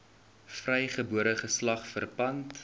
vrygebore geslag verpand